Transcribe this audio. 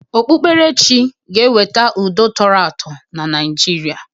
Okpukperechi ga-eweta udo tọrọ atọ na Naịjirịa.